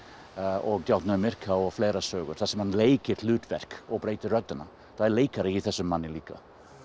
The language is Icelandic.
og djákninn á Myrká og fleiri sögur þar sem hann leikur hlutverk og breytir röddinni það er leikari í þessum manni líka